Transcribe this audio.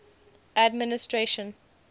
administration